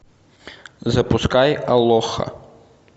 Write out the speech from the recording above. запускай алоха